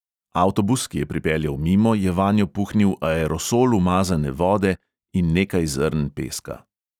Avtobus, ki je pripeljal mimo, je vanjo puhnil aerosol umazane vode in nekaj zrn peska.